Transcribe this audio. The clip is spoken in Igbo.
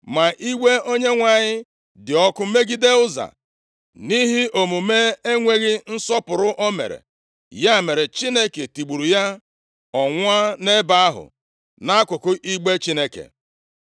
Ma iwe Onyenwe anyị dị ọkụ megide Ụza, nʼihi omume enweghị nsọpụrụ o mere. Ya mere, Chineke tigburu ya. Ọ nwụọ nʼebe ahụ nʼakụkụ igbe Chineke.